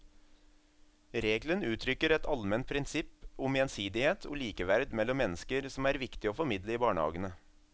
Regelen uttrykker et allment prinsipp om gjensidighet og likeverd mellom mennesker som er viktig å formidle i barnehagene.